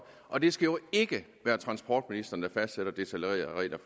og det skal jo ikke være transportministeren der fastsætter detaljerede regler